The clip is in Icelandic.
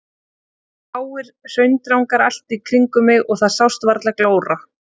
Það voru háir hraundrangar allt í kringum mig og það sást varla glóra.